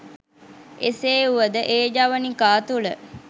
එසේ වුවද ඒ ජවනිකා තුළ